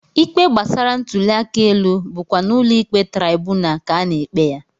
Ikpe gbasara ntụliaka elu bụkwa n'ụlọikpe traibunal ka a na-ekpe ya